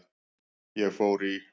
Ég fór í